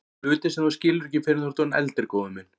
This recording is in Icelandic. Hluti sem þú skilur ekki fyrr en þú ert orðinn eldri, góði minn.